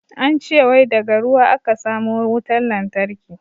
An ce wai daga ruwa a ka samo wutan lantarki.